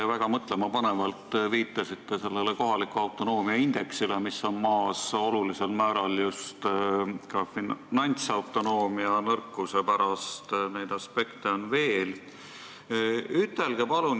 Te väga mõtlemapanevalt viitasite kohaliku autonoomia indeksile, mis meie riigis on madal olulisel määral just ka finantsautonoomia nõrkuse pärast, aga neid aspekte on veel.